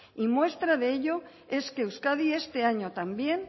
y muestra de ello es que euskadi este año también